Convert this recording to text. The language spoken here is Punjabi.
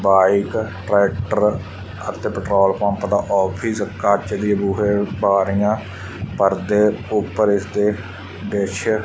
ਬਾਈਕ ਟਰੈਕਟਰ ਅਤੇ ਪੈਟਰੋਲ ਪੰਪ ਦਾ ਆਫਿਸ ਕੱਚ ਦੀ ਬੂਹੇ ਬਾਰੀਆਂ ਪਰਦੇ ਉੱਪਰ ਇਸ ਦੇ ਡਿਸ਼ --